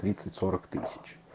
тридцать сорок тысяч